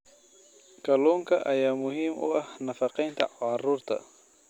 Kalluunka ayaa muhiim u ah nafaqeynta carruurta.